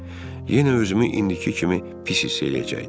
Yenə özümü indiki kimi pis hiss eləyəcəkdim.